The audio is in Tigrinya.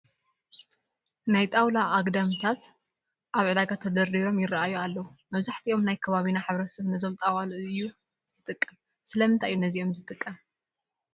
ናይ ጣውላ ኣግዳምታት ኣብ ዕዳጋ ተደርዲሮም ይርአዩ ኣለዉ፡፡ መብዛሕትኡ ናይ ከባቢና ሕብረተሰብ ነዞም ጣዋሉ እዩ ዝጥቀም፡፡ ስለምንታይ እዩ ነዚኦም ዝጥቀም?